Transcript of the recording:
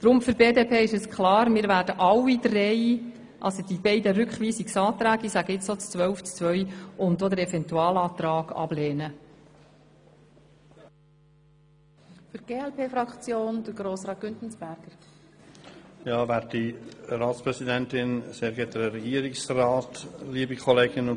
Für die BDP ist klar, dass sie alle Rückweisungsanträge, auch jenen zu Artikel 12 Absatz 2 und den Eventualantrag, ablehnen wird.